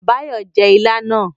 Báyọ̀ jẹ́ ilá náà